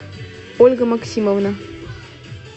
ольга максимовна